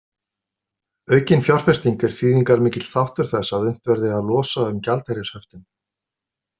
Aukin fjárfesting er þýðingarmikill þáttur þess að unnt verði að losa um gjaldeyrishöftin.